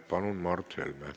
Palun, Mart Helme!